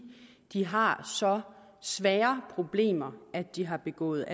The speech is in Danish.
de har så svære problemer at de har begået